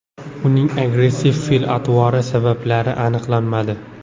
Uning agressiv fe’l-atvori sabablari aniqlanmadi.